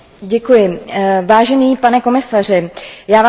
Pane komisaři, já Vám děkuji za odvedenou práci.